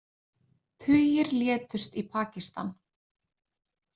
Tugir létust í Pakistan